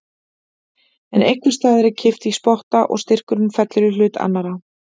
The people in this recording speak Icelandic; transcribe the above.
En einhvers staðar er kippt í spotta og styrkurinn fellur í hlut annarrar.